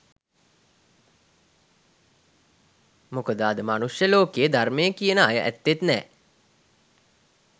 මොකද අද මනුෂ්‍ය ලෝකයේ ධර්මය කියන අය ඇත්තෙත් නෑ.